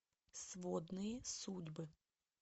сводные судьбы